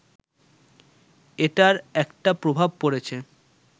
এটার একটা প্রভাব পড়েছে